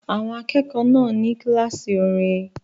Àwọn akẹ́kọ̀ọ́ náà ní kíláàsì orin